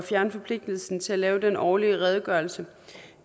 fjerne forpligtelsen til at lave den årlige redegørelse